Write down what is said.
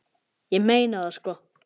Ég meina það sko.